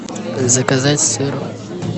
заказать сыр